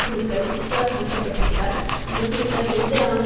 குழுக்கள் உற்சாக மூட்டப்பட்டிருப்பதால் இந்த குழுக்கள் எந்த இராணுவ